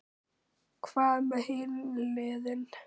Hvað með hin liðin?